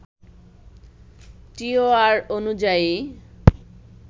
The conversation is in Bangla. টিওআর অনুযায়ী